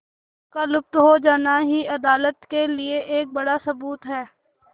उनका लुप्त हो जाना भी अदालत के लिए एक बड़ा सबूत है